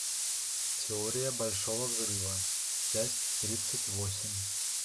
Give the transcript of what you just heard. теория большого взрыва часть тридцать восемь